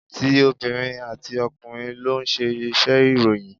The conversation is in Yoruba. Ti obìnrin àti ọkùnrin ló ń ṣe iṣẹ́ ìròyìn.